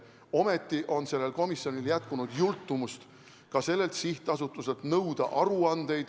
Ometi on sellel komisjonil jätkunud jultumust ka sellelt sihtasutuselt nõuda aruandeid ...